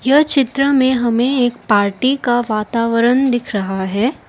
यह चित्र में हमें एक पार्टी का वातावरण दिख रहा है।